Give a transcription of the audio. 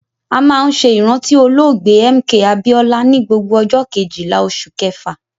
A máa ń ṣe ìrántí olóògbé MK Abiola ni gbogbo ọjọ Kejìlá oṣù kẹfà.